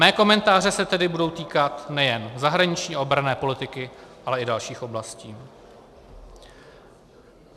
Mé komentáře se tedy budou týkat nejen zahraniční a obranné politiky, ale i dalších oblastí.